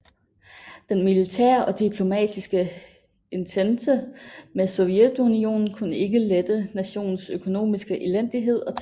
Den militære og diplomatiske entente med Sovjetunionen kunne ikke lette nationens økonomiske elendighed og tørke